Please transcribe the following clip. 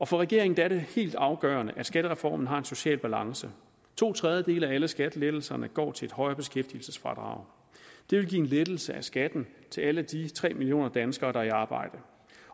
for regeringen er det helt afgørende at skattereformen har en social balance to tredjedele af alle skattelettelserne går til et højere beskæftigelsesfradrag det vil give en lettelse af skatten til alle de tre millioner danskere der er i arbejde